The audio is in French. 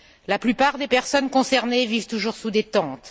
La plupart des personnes concernées vivent toujours sous des tentes.